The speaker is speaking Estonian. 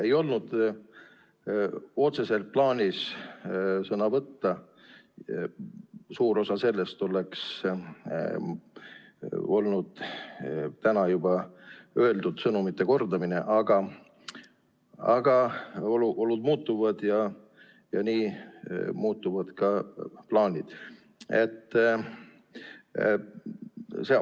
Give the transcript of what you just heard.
Ei olnud otseselt plaanis sõna võtta, suur osa sõnavõtust oleks olnud täna juba öeldud sõnumite kordamine, aga olud muutuvad ja nii muutuvad ka plaanid.